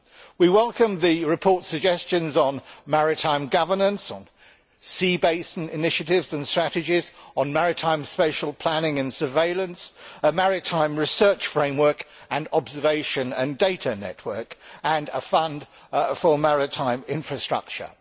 We welcome the report's suggestions on maritime governance, on sea basin initiatives and strategies, on maritime spatial planning and surveillance, a maritime research framework and observation and data network, and a fund for maritime infrastructure.